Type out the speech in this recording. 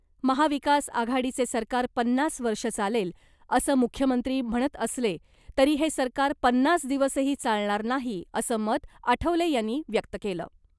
महाविकास आघाडीचे सरकार पन्नास वर्ष चालेल , असं मुख्यमंत्री म्हणत असले तरी हे सरकार पन्नास दिवसही चालणार नाही असं मत आठवले यांनी व्यक्त केलं .